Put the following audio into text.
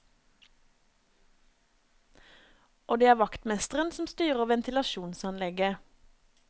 Og det er vaktmesteren som styrer ventilasjonsanlegget.